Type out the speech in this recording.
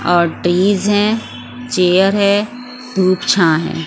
और ट्रीज हैं चेयर है धूप छा है।